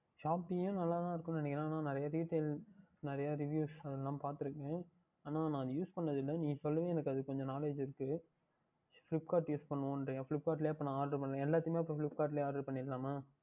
Shopee யும் நன்றாக தான் இருக்கும் என்று நினைக்கின்றேன் நிறையா Details நிறையா Reviwes அது எல்லாம் பார்த்து இருக்கின்றேன் ஆனால் நான் Use பன்னது இல்லை நீ சொல்லி தான் எனக்கு அதில் கொஞ்சம் Knowledge இருக்கின்றது Flipkart Use பன்னுவோம் அப்படி கின்றாயா Flipkart லேயே அப்பொழுது எல்லாமுமே Flipkart லேயே பண்ணிவிடலாமா